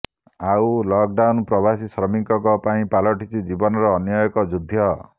ଆଉ ଲକଡାଉନ୍ ପ୍ରବାସୀ ଶ୍ରମିକଙ୍କ ପାଇଁ ପାଲଟିଛି ଜୀବନର ଅନ୍ୟ ଏକ ଯୁଦ୍ଧ